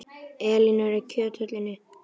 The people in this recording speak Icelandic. Elinór, er opið í Kjöthöllinni?